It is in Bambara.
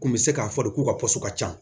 Kun bɛ se k'a fɔ de k'u ka ka ca